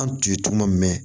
An tun ye tuma min